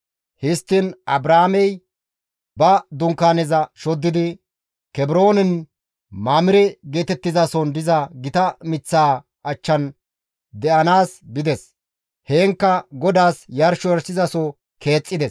Histtiin Abraamey ba Dunkaaneza shoddidi, Kebroonen Mamire geetettizason diza gita miththaa achchan de7anaas bides. Heenkka GODAAS yarsho yarshizaso keexxides.